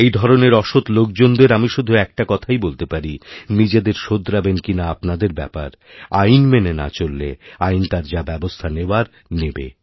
এই ধরনের অসৎ লোকজনদের আমি শুধু একটা কথাইবলতে পারি নিজেদের শোধরাবেন কিনা আপনাদের ব্যাপার আইন মেনে না চললে আইন তার যাব্যবস্থা নেওয়ার নেবে